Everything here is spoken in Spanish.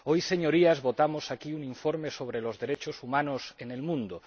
Hoy, Señorías, votamos aquí un informe sobre los derechos humanos en el mundo.